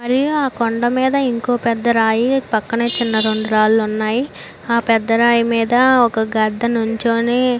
మరియు ఆ కొండా మీద ఇంకో పెద్ద రాయి పక్కనే చిన్న రెండు రాళ్లు ఉన్నాయ్ ఆ పెద్ద రాయి మీద ఒక గద్ద నించొని--